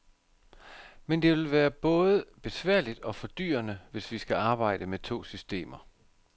Men det vil både være besværligt og fordyrende, hvis vi skal arbejde med to systemer.